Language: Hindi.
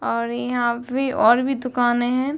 और यहाँ भी और भी दुकाने हें।